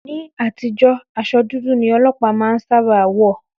Ní àtijọ́, aṣọ dúdú ni Ọlọpa má ń sábà wọ̀